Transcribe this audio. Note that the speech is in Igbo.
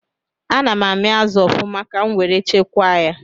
Ana amị azụ ọfụma ka nwere chekwa ya